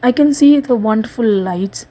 we can see wonderful lights.